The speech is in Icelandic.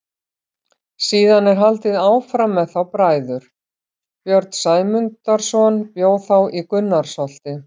Síðan er haldið áfram með þá bræður: Björn Sæmundarson bjó þá í Gunnarsholti.